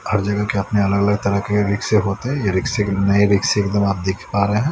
हर जगह के अपने अलग-अलग तरह के रिक्शे होते हैं ये रिक्शे के नए रिक्शे एकदम आप देख पा रहे हैं।